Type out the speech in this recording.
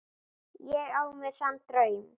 Ég á mér þann draum.